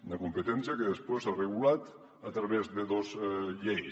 una competència que després s’ha regulat a través de dos lleis